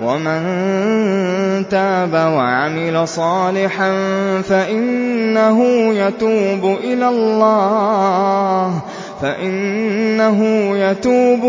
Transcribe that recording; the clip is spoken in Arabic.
وَمَن تَابَ وَعَمِلَ صَالِحًا فَإِنَّهُ يَتُوبُ